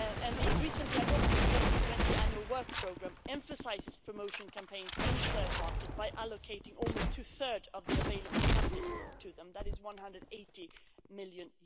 The recently adopted 2020 annual work programme emphasises promotion campaigns in third markets by allocating almost two thirds of the available funding to them that is EUR 180 million.